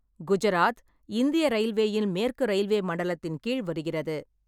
குஜராத், இந்திய ரயில்வேயின் மேற்கு ரயில்வே மண்டலத்தின் கீழ் வருகிறது.